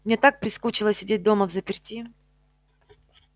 мне так прискучило сидеть дома взаперти